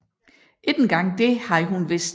Ikke engang det havde hun vidst